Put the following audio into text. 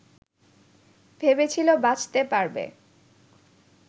ভেবেছিল বাঁচতে পারবেন